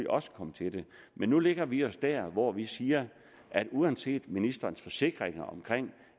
også komme til det men nu lægger vi os der hvor vi siger at uanset ministerens forsikringer om